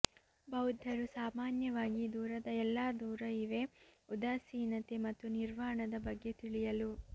ಬೌದ್ಧರು ಸಾಮಾನ್ಯವಾಗಿ ದೂರದ ಎಲ್ಲಾ ದೂರ ಇವೆ ಉದಾಸೀನತೆ ಮತ್ತು ನಿರ್ವಾಣದ ಬಗ್ಗೆ ತಿಳಿಯಲು